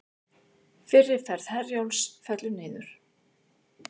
Fyrri ferð Herjólfs fellur niður